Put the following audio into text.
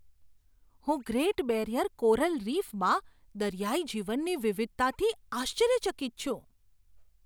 હું Great Barrier coral રીફમાં દરિયાઇ જીવનની વિવિધતાથી આશ્ચર્યચકિત છું.